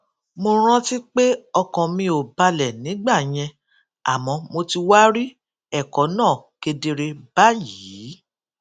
mo rántí pé ọkàn mi ò balè nígbà yẹn àmó mo ti wá rí èkó náà kedere báyìí